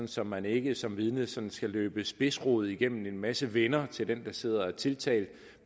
så man ikke som vidne sådan skal løbe spidsrod igennem en masse venner til den der sidder og er tiltalt